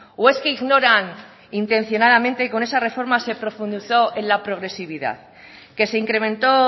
o es que ignoran intencionadamente con esa reforma se profundizó en la progresividad que se incrementó